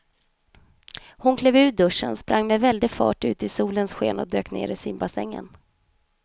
Hon klev ur duschen, sprang med väldig fart ut i solens sken och dök ner i simbassängen.